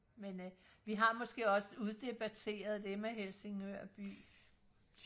men øh vi har måske også uddebatteret det med Helsingør by